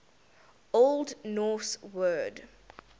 old norse word